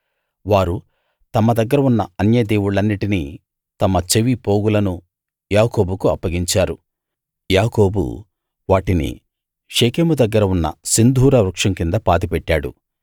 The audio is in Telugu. వారు తమ దగ్గర ఉన్న అన్యదేవుళ్ళన్నిటినీ తమ చెవి పోగులనూ యాకోబుకు అప్పగించారు యాకోబు వాటిని షెకెము దగ్గర ఉన్న సింధూర వృక్షం కింద పాతిపెట్టాడు